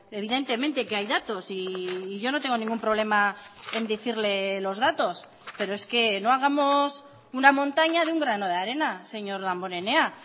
evidentemente que hay datos y yo no tengo ningún problema en decirle los datos pero es que no hagamos una montaña de un grano de arena señor damborenea